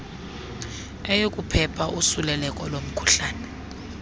yokuphepha usuleleko lomkhuhlane